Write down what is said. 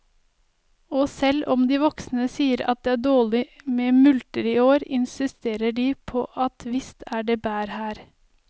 Og selv om de voksne sier at det er dårlig med multer i år, insisterer de på at visst er det bær her.